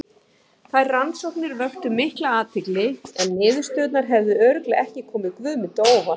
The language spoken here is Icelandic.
Þær rannsóknir vöktu mikla athygli en niðurstöðurnar hefðu örugglega ekki komið Guðmundi á óvart.